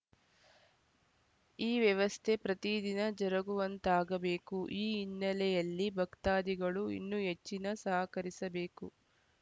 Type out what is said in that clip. ಈ ವ್ಯವಸ್ಥೆ ಪ್ರತಿ ದಿನ ಜರುಗುವಂತಾಗಬೇಕು ಈ ಹಿನ್ನಲೆಯಲ್ಲಿ ಭಕ್ತಾದಿಗಳು ಇನ್ನೂ ಹೆಚ್ಚಿನ ಸಹಕರಿಸಬೇಕು